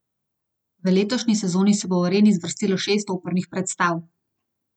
V letošnji sezoni se bo v areni zvrstilo šest opernih predstav.